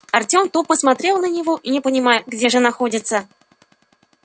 артём тупо смотрел на него не понимая где же находится